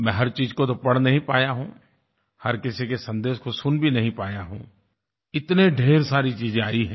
मैं हर चीज़ को तो पढ़ नहीं पाया हूँ हर किसी के सन्देश को सुन भी नहीं पाया हूँ इतने ढ़ेर सारी चीज़ें आई हैं